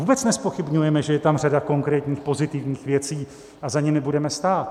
Vůbec nezpochybňujeme, že je tam řada konkrétních pozitivních věcí, a za nimi budeme stát.